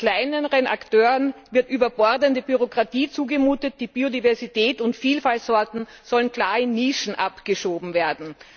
Kleineren Akteuren wird überbordende Bürokratie zugemutet, die Biodiversität und Vielfaltsorten sollen klar in Nischen abgeschoben werden.